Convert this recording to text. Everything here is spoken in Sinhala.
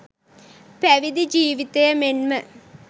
පැවිදි ජීවිතය මෙන්ම